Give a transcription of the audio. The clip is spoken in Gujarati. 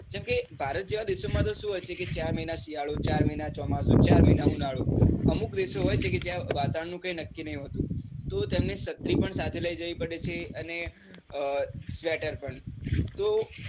કે જેમ કે ભારત જેવા દેશો માં કેઉં હોય છેકે ચાર મહિના શિયાળો ચાર મહિના ચોમાસુ ચાર મહિના ઉનાળો અમુક દેશો હોય છે કે જ્યાં વાતાવરણ નું કઈ નક્કી નાઈ હોતું, તો તેમને છત્રી પણ સાથે લઇ જવી પડે છે અને sweater પણ